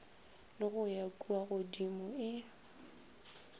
le go ya kuagodimo e